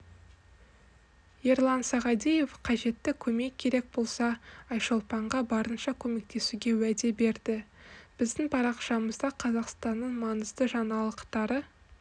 ерлан сағадиев қажетті көмек керек болса айшолпанға барынша көмектесуге уәде берді біздің парақшамызда қазақстанның маңызды жаңалықтары